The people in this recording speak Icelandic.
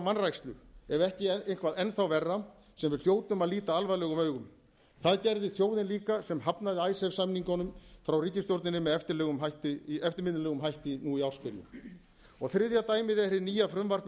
vanrækslu ef ekki eitthvað enn þá verra sem við hljótum að líta alvarlegum augum það gerði þjóðin líka sem hafnaði icesave samningunum frá ríkisstjórninni með eftirminnilegum hætti nú í ársbyrjun dæmið er hið nýja frumvarp um